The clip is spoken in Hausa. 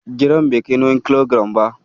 Giram bai kai nawin kilogiram ba.